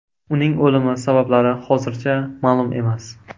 Uning o‘limi sabablari hozircha ma’lum emas.